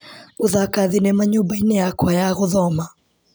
Gũthaka thinema nyũmba-inĩ yakwa ya gũthoma.